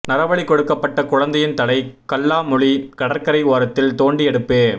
நரபலி கொடுக்கப்பட்ட குழந்தையின் தலை கல்லாமொழி கடற்கரை ஓரத்தில் தோண்டி எடுப்பு